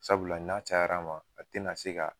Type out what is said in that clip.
Sabula n'a cayara ma, a te na se ka